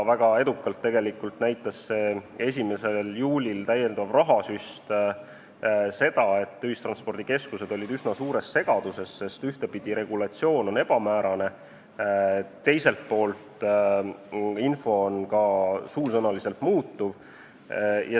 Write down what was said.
Väga edukalt näitas see 1. juulil tehtud täiendav rahasüst seda, et ühistranspordikeskused olid üsna suures segaduses, sest ühtepidi, regulatsioon on ebamäärane, aga teistpidi, ka suusõnaline info muutub.